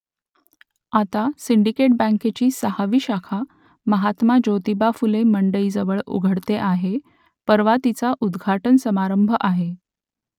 आता सिंडिकेट बँकेची सहावी शाखा महात्मा ज्योतिबा फुले मंडईजवळ उघडते आहे परवा तिचा उद्घाटन समारंभ आहे